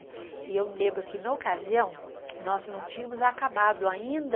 E eu me lembro que, na ocasião, nós não tínhamos acabado ainda